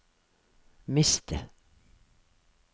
miste